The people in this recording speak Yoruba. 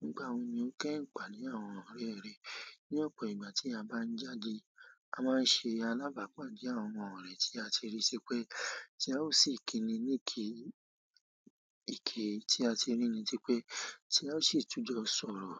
Nígbà wo ni o kẹ́ ìnpa ní àwọn ọ̀rẹ́ rẹ? Ní ọ̀pọ̀ ìgbà tí a bá ń jáde, a máa ń ṣe alábàápàdẹ̀ àwọn ọ̀rẹ́ tí a ti rí tipé tí a ó sì kíni ní ìki, ìki tí a ti rí ni tí pé tí a ó sì tún jọ sọ̀rọ̀.